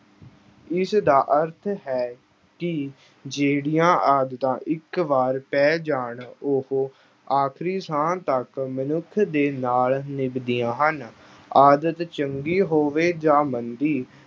ਇਸ ਦਾ ਅਰਥ ਹੈ ਕਿ ਜਿਹੜੀਆਂ ਆਦਤਾਂ ਇੱਕ ਵਾਰ ਪੈ ਜਾਣ ਉਹ ਆਖਰੀ ਸਾਹ ਤੱਕ ਮਨੁੱਖ ਦੇ ਨਾਲ ਨਿਭਦੀਆਂ ਹਨ, ਆਦਤ ਚੰਗੀ ਹੋਵੇ ਜਾਂ ਮੰਦੀ